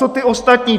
Co ty ostatní?